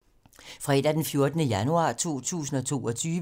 Fredag d. 14. januar 2022